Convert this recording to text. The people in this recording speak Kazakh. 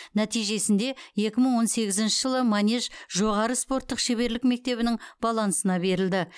нәтижесінде екі мың он сегізінші жылы манеж жоғары спорттық шеберлік мектебінің балансына берілді